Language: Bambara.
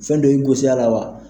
Fɛn dɔ i gosi a la wa